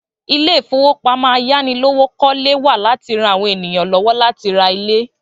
Ilé ìfowópamọ́ ayánilówókọ́lé wà láti ran àwọn èèyàn lọ́wọ́ láti ra ilé